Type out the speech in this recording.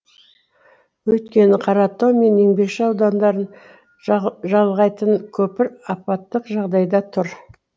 өйткені қаратау мен еңбекші аудандарын жалғайтын көпір апаттық жағдайда тұр